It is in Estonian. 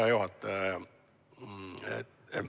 Hea juhataja!